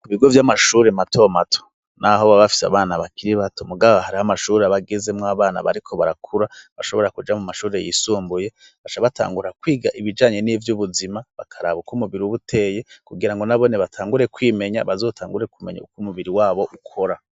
Ku bigo vy'amashuri mato mato, n'aho babafise abana bakiri bato mugabo hariho amashuri abageze mw abana bariko barakura bashobora kuja mu mashuri yisumbuye bashabatangura kwiga ibijanye n'ivy'ubuzima bakaraba uko umubiri buteye kugira ngo nabone batangure kwimenya bazotangure kumenya uko umubiri wabo ukora.